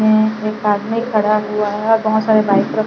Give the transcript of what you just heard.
एक आदमी खड़ा हुआ है और बहुत सारे बाइक --